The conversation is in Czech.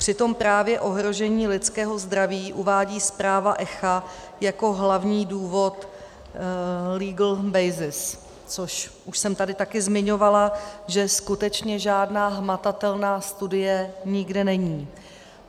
Přitom právě ohrožení lidského zdraví uvádí zpráva ECHA jako hlavní důvod legal basis, což už jsem tady taky zmiňovala, že skutečně žádná hmatatelná studie nikde není.